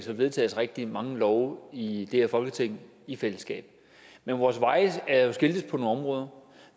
vedtages rigtig mange love i her folketing i fællesskab men vores veje er jo skiltes på nogle områder